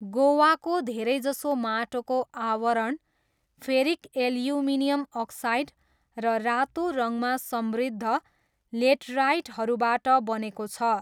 गोवाको धेरैजसो माटोको आवरण फेरिक एल्युमिनियम अक्साइड र रातो रङमा समृद्ध लेटराइटहरूबाट बनेको छ।